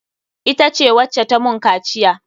Ita ce wacce ta mun kaciya.